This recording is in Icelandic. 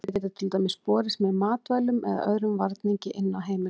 þau geta til dæmis borist með matvælum eða öðrum varningi inn á heimilið